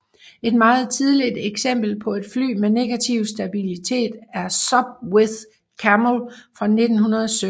Et meget tidligt eksempel på et fly med negativ stabilitet er Sopwith Camel fra 1917